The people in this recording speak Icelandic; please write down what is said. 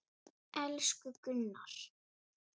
Elsku Gunnar.